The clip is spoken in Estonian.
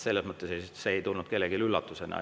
Selles mõttes see ei tulnud kellelegi üllatusena.